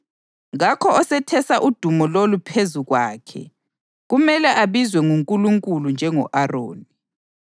Kakho ozethesa udumo lolu phezu kwakhe; kumele abizwe nguNkulunkulu njengo-Aroni.